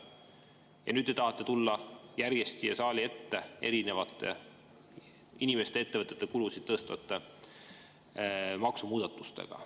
Ja nüüd te tahate tulla järjest siia saali ette inimeste ja ettevõtete kulusid tõstvate maksumuudatustega.